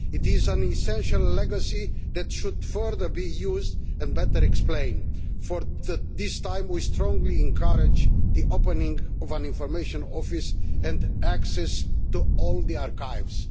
It is an essential legacy that should be further used and better explained for this time we strongly encourage the opening of an information office and access to all the archives.